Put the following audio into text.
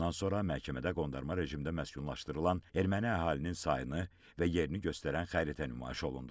Bundan sonra məhkəmədə qondarma rejimdə məskunlaşdırılan erməni əhalinin sayını və yerini göstərən xəritə nümayiş olundu.